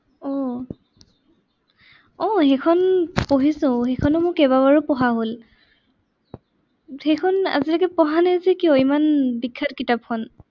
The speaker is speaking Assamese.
আহ আহ সেইখন পঢ়িছো সেইখনa মোৰ কেইবাবাৰো পঢ়া হল সেইখন আজিলৈকে পঢ়া নাই যে কিয় ইমান বিখ্যাত কিতাপখন?